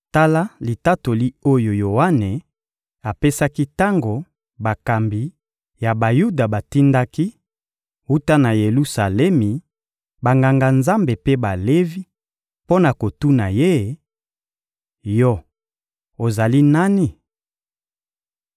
Tala litatoli oyo Yoane apesaki tango bakambi ya Bayuda batindaki, wuta na Yelusalemi, Banganga-Nzambe mpe Balevi, mpo na kotuna ye: — Yo ozali nani?